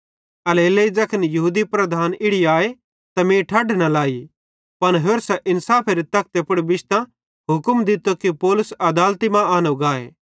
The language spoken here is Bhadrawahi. एल्हेरेलेइ ज़ैखन यहूदी लीडर इड़ी आए त मीं ठढ न लाई पन होरसां इन्साफेरे तखते पुड़ बिश्तां हुक्म दित्तो कि पौलुस अदालती मां आनो गाए